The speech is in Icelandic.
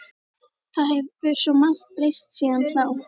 Það hefur svo margt breyst síðan þá.